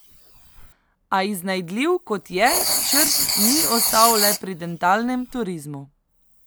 A iznajdljiv, kot je, Črt ni ostal le pri dentalnem turizmu.